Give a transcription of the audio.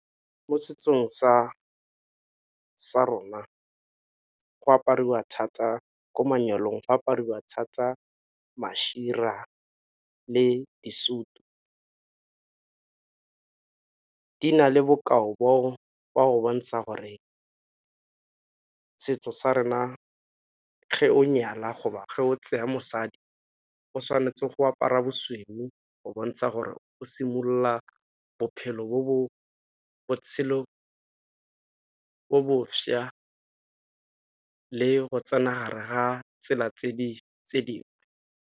Mo setsong sa rona go apariwa thata, ko manyalong fa apariwa thata le disutu. Di na le bokao jwa go bontsha gore setso sa rena ge o nyalwa go ba ge o tseya mosadi o tshwanetse go apara bosweu go bontsha gore o simolola bophelo bo bo, botshelo bo bo šwa le go tsena ha re ha tsela tse dingwe.